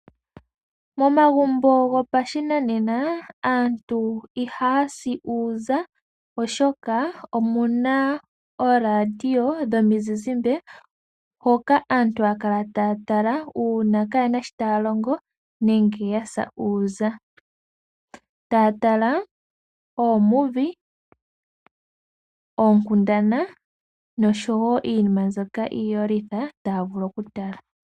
Momagumbo gopashinanena aantu ihaya si uuza, oshoka omu na ooradio dhomizizimba hoka aantu haya kala taya tala uuna kaye na shoka taya longo nenge ya sa uuza; taya tala oofilima, oonkundana noshowo iinima mbyoka iiyolitha taya vulu okutala.